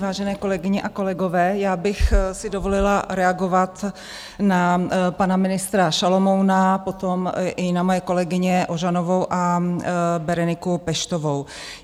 Vážené kolegyně a kolegové, já bych si dovolila reagovat na pana ministra Šalomouna, potom i na moje kolegyně Ožanovou a Bereniku Peštovou.